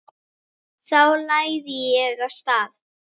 Þá lagði ég af stað.